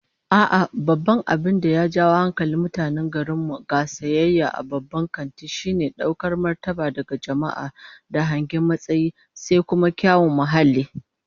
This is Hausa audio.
A'a, babban abin da ya ja hankalin mutanen garin mu ga sayayya a babban kanti, shine daukar martabar daga jama'a da hangen matsayi, sai kuma kyawun muhalli